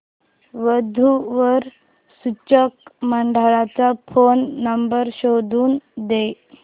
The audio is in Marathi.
वधू वर सूचक मंडळाचा फोन नंबर शोधून दे